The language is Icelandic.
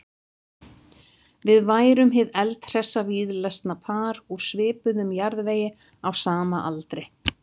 Við værum hið eldhressa víðlesna par úr svipuðum jarðvegi á sama aldri.